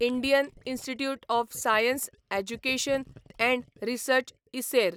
Indian institute of science education and research इसेर